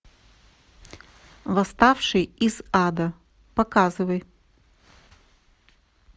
восставший из ада показывай